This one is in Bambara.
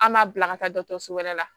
An m'a bila ka taa dɔkɔtɔrɔso wɛrɛ la